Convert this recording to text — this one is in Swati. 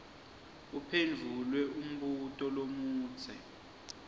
uphendvule umbuto lomudze